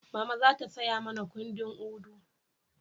Mama za ta saya mana kundin Udu